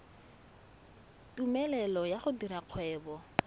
tumelelo ya go dira kgwebo